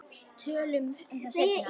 Tölum um það seinna.